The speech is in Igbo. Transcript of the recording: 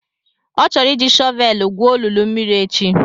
Ọ chọrọ iji shọvelu gwuo olulu mmiri echi.